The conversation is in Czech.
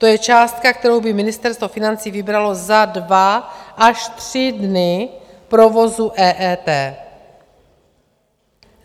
To je částka, kterou by Ministerstvo financí vybralo za dva až tři dny provozu EET.